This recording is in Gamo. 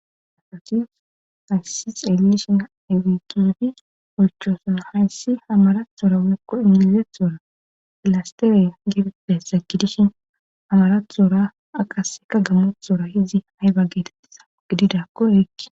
afotis hayssi xellishin awikidi olchoosona hayssi hamarathora wokko injilizethora pilastere gebepessa kidishin hamaratuhoora aqaseka gamothora hizzi hayba geetettissa gididakkoerekki